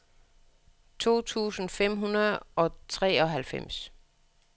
to tusind fem hundrede og treoghalvfems